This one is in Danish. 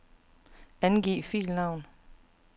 Angiv filnavn.